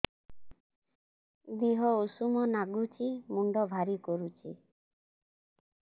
ଦିହ ଉଷୁମ ନାଗୁଚି ମୁଣ୍ଡ ଭାରି କରୁଚି